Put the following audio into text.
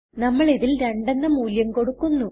നമ്മൾ ഇതിൽ 2 എന്ന് മൂല്യം കൊടുക്കുന്നു